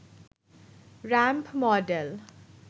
ramp model